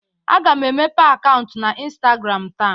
Aga m emepe akaụnt n'Instagram taa.